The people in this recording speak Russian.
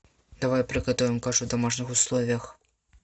давай приготовим кашу в домашних условиях